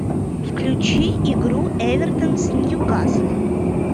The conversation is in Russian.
включи игру эвертон с ньюкаслом